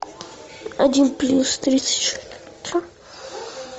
один плюс тридцать